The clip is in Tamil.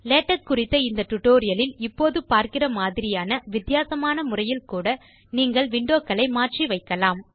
லேடெக்ஸ் குறித்த இந்த டியூட்டோரியல் இல் இப்போது பார்க்கிற மாதிரியான வித்தியாசமான முறையில் கூட நீங்கள் windowகளை மாற்றி வைக்கலாம்